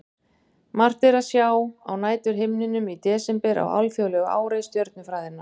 Margt er að sjá á næturhimninum í desember á alþjóðlegu ári stjörnufræðinnar.